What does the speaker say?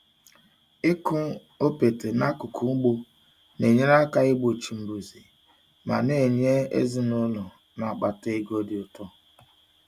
Ịkụ okpete n'akụkụ ugbo na-enyere aka igbochi mbuze ma na-enye ezinụlọ na-akpata ego dị ụtọ.